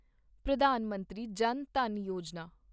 Pradhan Mantri Jan Dhan Yojana